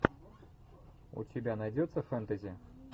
у тебя найдется фэнтези